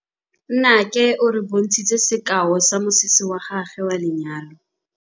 Nnake o re bontshitse sekaô sa mosese wa gagwe wa lenyalo.